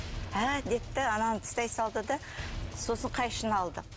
әәә деді де ананы тастай салды да сосын қайшыны алды